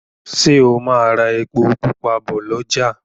Ṣe o má rà èpo pupa bó l'ọja